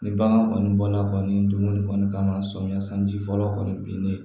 Ni bagan kɔni bɔla kɔni dumuni kɔni kama samiya sanji fɔlɔ kɔni bin ne ye